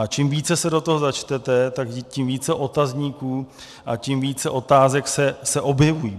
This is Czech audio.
A čím více se do toho začtete, tak tím více otazníků a tím více otázek se objeví.